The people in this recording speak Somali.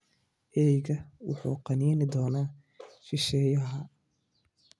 Eeygu wuxuu qaniini doonaa shisheeyaha.